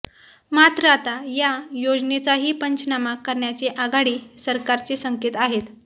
मात्र आता या योजनेचाही पंचनामा करण्याचे आघाडी सरकारचे संकेत आहेत